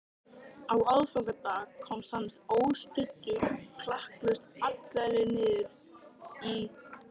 Á aðfangadag komst hann óstuddur klakklaust alla leið niður í